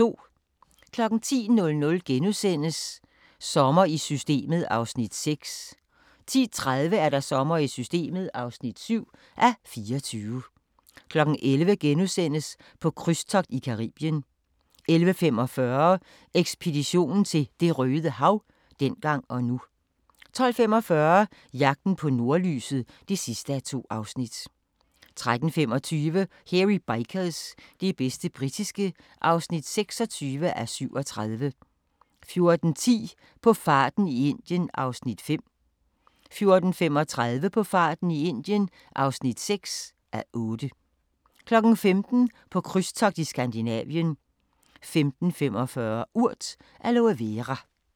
10:00: Sommer i Systemet (6:24)* 10:30: Sommer i Systemet (7:24) 11:00: På krydstogt i Caribien * 11:45: Ekspedition til Det røde Hav – dengang og nu 12:45: Jagten på nordlyset (2:2) 13:25: Hairy Bikers – det bedste britiske (26:37) 14:10: På farten i Indien (5:8) 14:35: På farten i Indien (6:8) 15:00: På krydstogt i Skandinavien 15:45: Urt: Aloe Vera